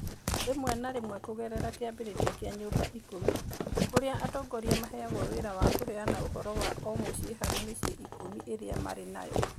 Rĩmwe na rĩmwe kũgerera kĩambĩrĩria kĩa Nyumba Kumi4 (kĩambĩrĩria kĩa mĩciĩ ikũmi), kũrĩa atongoria maheagwo wĩra wa kũheana ũhoro wa o mũciĩ harĩ mĩciĩ ikũmi ĩrĩa marĩ nayo.